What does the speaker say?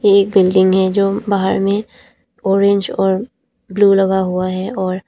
एक बिल्डिंग है जो बाहर में ऑरेंज और ब्ल्यू लगा हुआ है और--